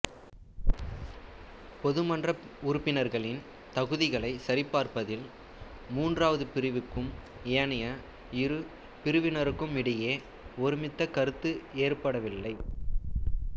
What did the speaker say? பொதுமன்ற உறுப்பினர்களின் தகுதிகளைச் சரிபார்ப்பதில் மூன்றாவது பிரிவுக்கும் ஏனைய இரு பிரிவினருக்குமிடையே ஒருமித்த கருத்து ஏற்படவில்லை